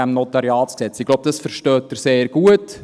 Ich glaube, das verstehen Sie sehr gut.